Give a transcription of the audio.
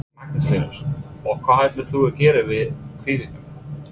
Magnús Hlynur: Og hvað ætlar þú að gera við kvíguna?